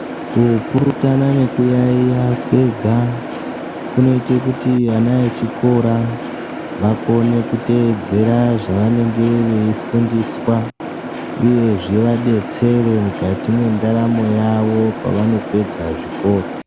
Kupurutana nekuyaiya kwega kunoite kuti ana echikora vakone kuteedzera zvavanenge veifundiswa uye zvivadetsere mukati mwendaramo yavo pavanopedza zvikora.